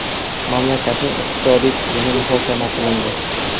Mamlakatning iqtisodiy tizimi muhokama qilindi.